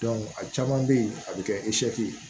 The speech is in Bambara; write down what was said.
a caman bɛ ye a bɛ kɛ ye